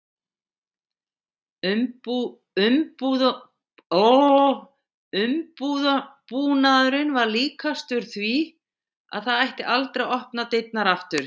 Umbúnaðurinn var líkastur því að það ætti aldrei að opna dyrnar aftur.